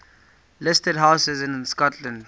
listed houses in scotland